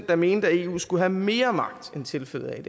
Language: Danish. der mente at eu skulle have mere magt end tilfældet er